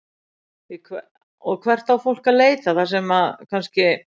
Logi: Og hvert á fólk að leita þar sem að kannski?